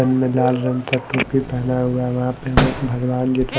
में लाल रंग का टोपी पहना हुआ है वहां पे हमें भगवान जी का--